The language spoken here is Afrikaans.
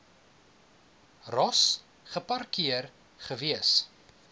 ross geparkeer gewees